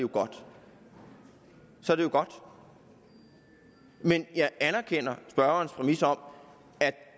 jo godt så er det jo godt men jeg anerkender spørgerens præmis om at